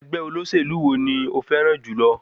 Ẹgbẹ́ olóṣèlú wo ni o fẹ́ràn jùlọ?